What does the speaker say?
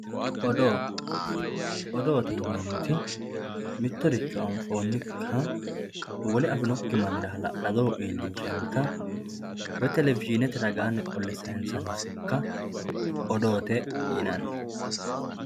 odoo odoote yineemoti mittoricho anfoonika wole afinokki mannira hala'ladoho iilinshanita woy televishiinete widooni qole sayiinsanni sokka odoote yinanni.